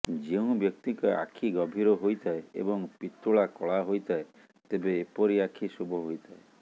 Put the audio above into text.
ଯେଉଁ ବ୍ୟକ୍ତିଙ୍କ ଆଖି ଗଭୀର ହୋଇଥାଏ ଏବଂ ପିତୁଳା କଳା ହୋଇଥାଏ ତେବେ ଏପରି ଆଖି ଶୁଭ ହୋଇଥାଏ